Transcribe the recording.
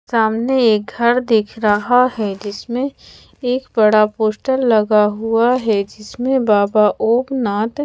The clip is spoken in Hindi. सामने एक घर दिख रहा है जिसमे एक बड़ा पोस्टर लगा हुआ है जिसमे बाबा ओमनाथ--